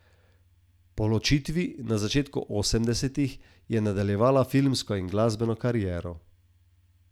Po ločitvi, na začetku osemdesetih, je nadaljevala filmsko in glasbeno kariero.